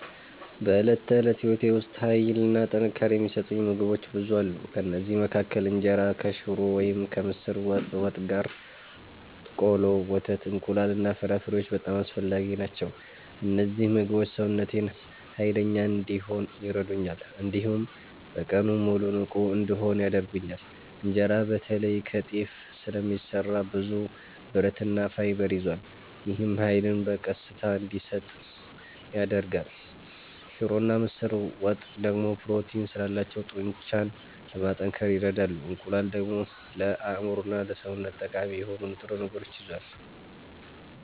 በዕለት ተዕለት ሕይወቴ ውስጥ ኃይልና ጥንካሬ የሚሰጡኝ ምግቦች ብዙ አሉ። ከእነዚህ መካከል እንጀራ ከሽሮ ወይም ከምስር ወጥ ጋር፣ ቆሎ፣ ወተት፣ እንቁላል እና ፍራፍሬዎች በጣም አስፈላጊ ናቸው። እነዚህ ምግቦች ሰውነቴን ኃይለኛ እንዲሆን ይረዱኛል፣ እንዲሁም በቀኑ ሙሉ ንቁ እንድሆን ያደርጉኛል። እንጀራ በተለይ ከጤፍ ስለሚሰራ ብዙ ብረትና ፋይበር ይዟል። ይህም ኃይልን በቀስታ እንዲሰጥ ያደርጋል። ሽሮና ምስር ወጥ ደግሞ ፕሮቲን ስላላቸው ጡንቻን ለማጠናከር ይረዳሉ። እንቁላል ደግሞ ለአእምሮና ለሰውነት ጠቃሚ የሆኑ ንጥረ ነገሮችን ይዟል።